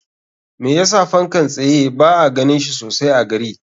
Me yasa fankan tsaye ba a ganin shi sosai a gari?